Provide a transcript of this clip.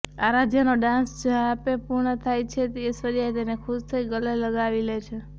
આરાધ્યાનો dance જ્યાપે પૂર્ણ થાય છે ઐશ્વર્યા તેને ખુશ થઇ ગલે લગાવી લે છે